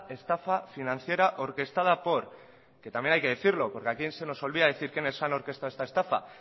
estafa financiera orquestada por que también hay que decirlo porque aquí se nos olvida decir quiénes han orquestado esta estafa